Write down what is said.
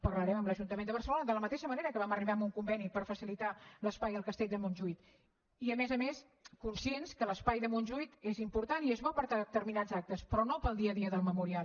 parlarem amb l’ajuntament de barcelona de la mateixa manera que vam arribar a un conveni per facilitar l’espai al castell de montjuïc i a més a més conscients que l’espai de montjuïc és important i és bo per a determinats actes però no per al dia a dia del memorial